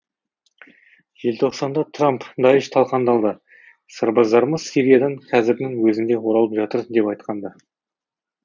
желтоқсанда трамп даиш талқандалды сарбаздарымыз сириядан қазірдің өзінде оралып жатыр деп айтқан ды